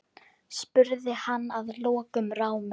spurði hann að lokum rámur.